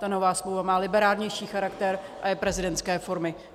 Ta nová smlouva má liberálnější charakter a je prezidentské formy.